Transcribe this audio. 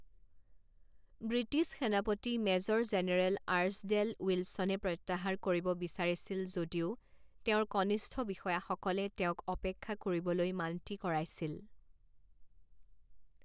British সেনাপতি major general Archdale উইলছনে প্ৰত্যাহাৰ কৰিব বিচাৰিছিল যদিও তেওঁৰ কনিষ্ঠ বিষয়াসকলে তেওঁক অপেক্ষা কৰিবলৈ মান্তি কৰাইছিল।